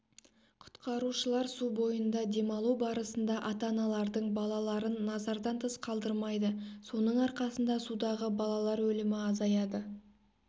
құтқарушылар су бойында демалу барысында ата-аналардың балаларын назардан тыс қалдырмайды соның арқасында судағы балалар өлімі азаяды